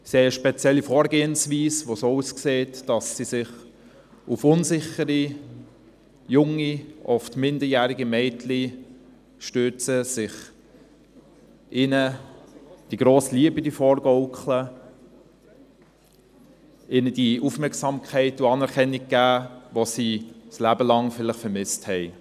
Sie haben eine spezielle Vorgehensweise, die so aussieht, dass sie sich auf unsichere, junge, oft minderjährige Mädchen stürzen und ihnen die grosse Liebe vorgaukeln, ihnen die Aufmerksamkeit und Anerkennung geben, welche sie vielleicht ihr Leben lang vermisst haben.